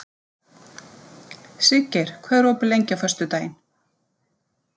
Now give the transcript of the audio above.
Siggeir, hvað er opið lengi á föstudaginn?